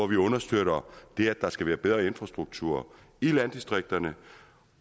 vi understøtter det at der skal være bedre infrastruktur i landdistrikterne